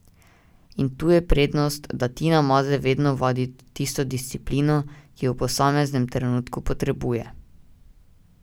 In tu je prednost, da Tina Maze vedno vadi tisto disciplino, ki jo v posameznem trenutku potrebuje.